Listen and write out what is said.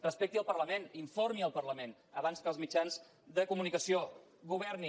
respecti el parlament informi el parlament abans que els mitjans de comunicació governi